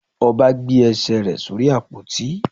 Oba gbe ẹ́sè re sorí ápotí.